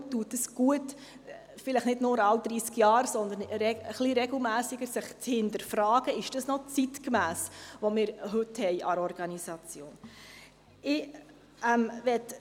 Deshalb tut es gut, vielleicht nicht nur alle dreissig Jahre, sondern ein bisschen regelmässiger zu hinterfragen, ob das, was wir heute als Organisation haben, noch zeitgemäss ist.